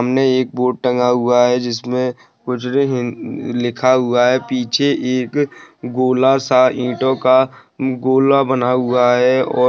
सामने एक बोर्ड टंगा हुआ है जिसमें लिखा हुआ है पीछे एक गोला सा ईंटों का गोला बना हुआ है और--